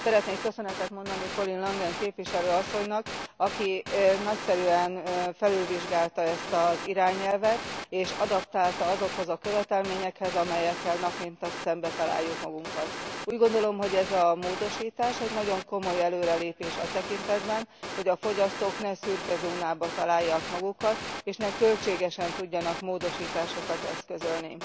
Szeretnék köszönetet mondani Collin Langen képviselő asszonynak, aki nagyszerűen felülvizsgálta ezt az irányelvet és adaptálta azokhoz a követelményekhez, amelyekkel nap mint nap szembetaláljuk magunkat. Úgy gondolom, hogy ez a módosítás nagyon komoly előrelépés a tekintetben, hogy a fogyasztók ne szürkezónában találják magukat, és ne költségesen tudjanak módosításokat eszközölni.